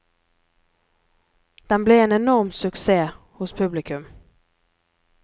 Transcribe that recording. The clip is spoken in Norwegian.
Den ble en enorm suksess hos publikum.